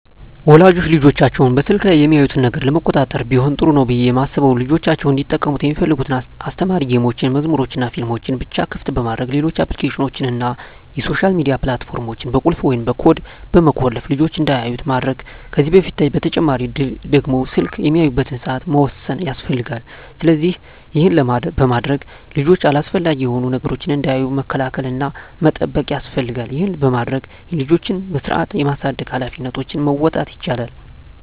ወላጆች ልጆቻቸው በስልክ ላይ የሚያዩትን ነገር ለመቆጣጠር ቢሆን ጥሩ ነው ብየ ማስበው ልጆቻቸው እንዲጠቀሙ ሚፈልጉትን አስተማሪ ጌሞችን፣ መዝሙሮችንናፊልሞችን ብቻ ክፍት በማድረግ ሌሎች አፕሊኬሽኖችን እና የሶሻል ሚዲያ ፕላት ፎርሞችን በቁልፍ ወይም በኮድ በመቆለፍ ልጅች እንዳያዩት ማድረግ ከዚህ በተጨማሪ ደግሞ ስልክ የሚያዩበትን ሰአት መወሰን ያስፈልጋል። ስለዚህ ይህን በማድረግ ልጆች አላስፈላጊ የሆኑ ነገሮችን እንዳያዩ መከላከል እና መጠበቅ ያስፈልጋል ይህን በማድረግ የልጆችን በስርአት የማሳደግ ሀላፊነቶችን መወጣት ይቻላል።